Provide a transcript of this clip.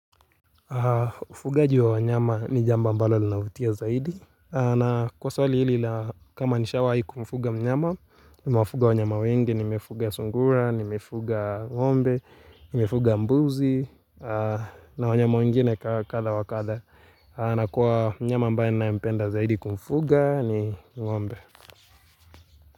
Ufugaji wa wanyama ni jambo ambalo linavutia zaidi na kwa swali hili la kama nishawahi kumfuga mnyama Nimewafuga wanyama wengi, nimefuga sungura, nimefuga ng'ombe, nimefuga mbuzi na wanyama wengine kadha wa kadha na kwa mnyama ambaye ninayempenda zaidi kumfuga ni uombe.